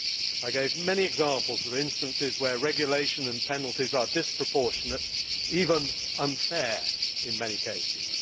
I gave many examples of cases where regulation and penalties are disproportionate even unfair in many cases.